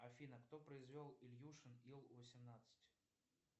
афина кто произвел ильюшин ил восемнадцать